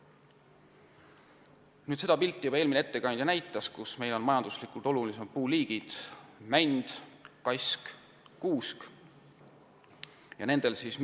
Eelmine ettekandja juba näitas teile seda pilti, millel olid näha meie majanduslikult olulisimad puuliigid: mänd, kask ja kuusk.